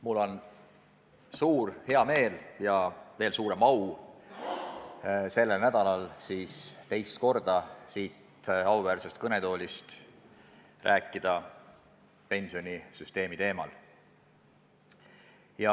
Mul on väga hea meel ja suur au sellel nädalal teist korda siin auväärses kõnetoolis rääkida pensionisüsteemi teemal.